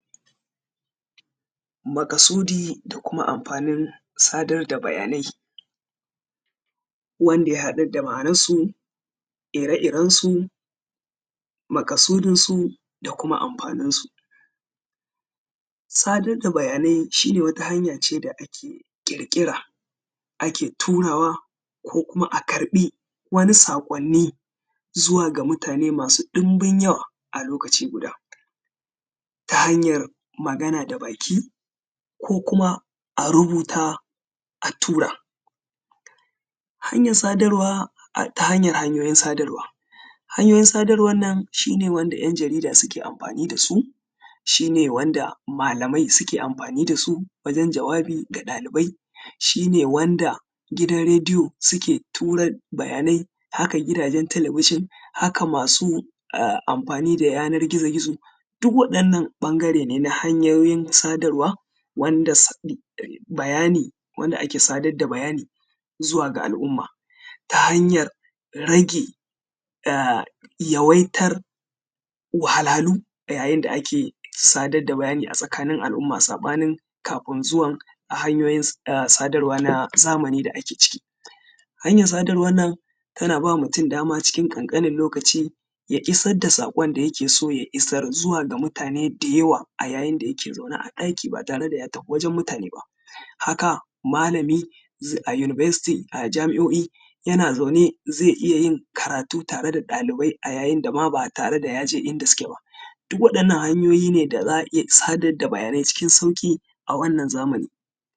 Maƙasudi da kuma amfanin sadar da bayanai, wanda ya haɗa da bayanansu, ire irensu, maƙasudinsu da kuma amfaninsu. Sadar da bayanai shine wata hanya ce da ake ƙirƙira, ake turawa ko kuma a karɓi wani saƙonni zuwa ga mutane masu ɗinbin yawa a lokaci guda ta hanyar magana da baki, ko kuma a rubuta a tura. Hanyar sadarwa ta hanyar hanyoyin sadarwa. Hanyoyin sadarwan nan shine wanda ‘yan jarida suke amfani da su, shine wanda malamai suke amfani da su, wajen jawabi ga ɗalibai, shine wanda gidan rediyo suke tura bayanai, haka gidajen talabijin haka masu amfani da yanar gizo gizo. Duk waɗannan ɓangare ne na hanyoyin sadarwa wanda bayani wanda ake sadar da bayani zuwa ga al’umma ta hanyar rage yawaitar wahalhalu da yayin da ake sadar da bayani a tsakanin al’umma, saɓanin kafin zuwan hanyoyin sadarwa na zamani da ake ciki. Hanyar sadarwan nan ta na ba mutum dama cikin ƙanƙanin lokaci ya isar da saƙon da yake so ya isar zuwa ga mutane da yawa a yayin da yake zaune a ɗaki ba tare da ya tafi wajen mutane ba. Haka malami a jami’o’i yana zaune zai iya yin karatu tare da ɗalibai a yayi da ma ba tare da ya je in da suke ba. Duk waɗannan hanyoyi ne da za a iya sadar da bayanai cikin sauƙi a wannan zamani.